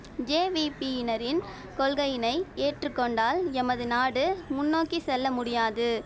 ஜேவிபியினரின் கொள்கையினை ஏற்று கொண்டால் எமது நாடு முன்னோக்கி செல்ல முடியாது